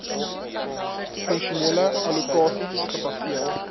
funksionele allokasies gebaseer